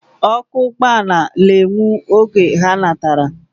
Oku ugboala na enwu oge ha natara.